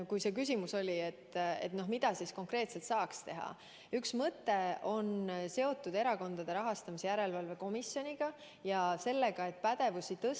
Üks mõte, mida konkreetset saaks teha, on seotud Erakondade Rahastamise Järelevalve Komisjoniga ja sellega, et komisjoni pädevust tõsta.